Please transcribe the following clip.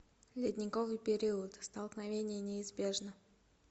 ледниковый период столкновение неизбежно